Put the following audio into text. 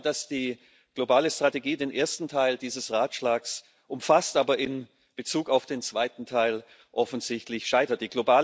Ich glaube, dass die globale Strategie den ersten Teil dieses Ratschlags umfasst, aber in Bezug auf den zweiten Teil offensichtlich scheitert.